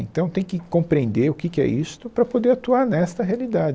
Então, tem que compreender o que que é isto para poder atuar nesta realidade.